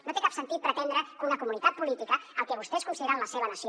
no té cap sentit pretendre que una comunitat política el que vostès consideren la seva nació